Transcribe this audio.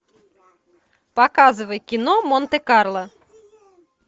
показывай кино монте карло